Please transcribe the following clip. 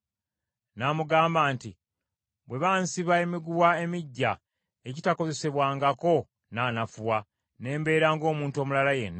N’amugamba nti, “Bwe bansibya emiguwa emiggya egitakozesebwangako, nnaanafuwa, ne mbeera ng’omuntu omulala yenna.”